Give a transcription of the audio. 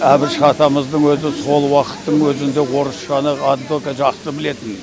әбіш атамыздың өзі сол уақыттың өзінде орысшаны настолько жақсы білетін